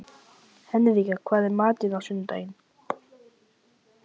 spyr hann titrandi og ósannfærandi þegar hann fær rænuna aftur.